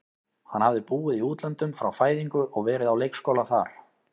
Hann hafði búið í útlöndum frá fæðingu og verið á leikskóla þar.